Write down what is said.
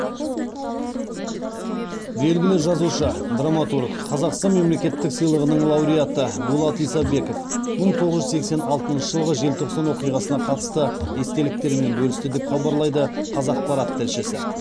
белгілі жазушы драматург қазақстан мемлекеттік сыйлығының лауреаты дулат исабеков мың тоғыз жүз сексен алтыншы жылғы желтоқсан оқиғасына қатысты естеліктерімен бөлісті деп хабарлайды қазақпарат тілшісі